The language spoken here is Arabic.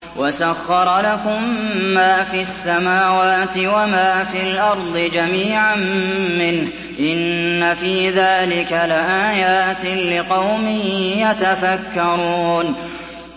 وَسَخَّرَ لَكُم مَّا فِي السَّمَاوَاتِ وَمَا فِي الْأَرْضِ جَمِيعًا مِّنْهُ ۚ إِنَّ فِي ذَٰلِكَ لَآيَاتٍ لِّقَوْمٍ يَتَفَكَّرُونَ